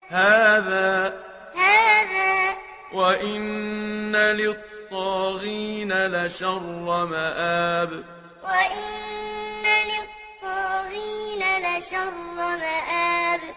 هَٰذَا ۚ وَإِنَّ لِلطَّاغِينَ لَشَرَّ مَآبٍ هَٰذَا ۚ وَإِنَّ لِلطَّاغِينَ لَشَرَّ مَآبٍ